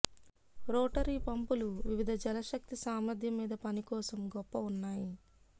rotary పంపులు వివిధ జలశక్తి సామర్థ్యం మీద పని కోసం గొప్ప ఉన్నాయి